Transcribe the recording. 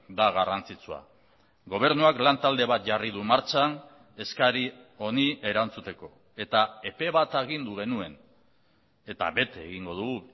da garrantzitsua gobernuak lantalde bat jarri du martxan eskari honi erantzuteko eta epe bat agindu genuen eta bete egingo dugu